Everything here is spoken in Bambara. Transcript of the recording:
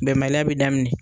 Bɛnbaliya bɛ daminɛ.